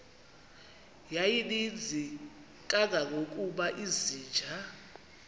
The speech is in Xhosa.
yayininzi kangangokuba izinja